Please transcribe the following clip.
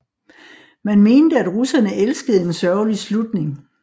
Man mente at russerne elskede en sørgelig slutning